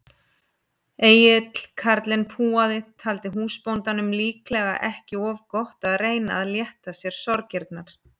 Egill karlinn púaði, taldi húsbóndanum líklega ekki of gott að reyna að létta sér sorgirnar.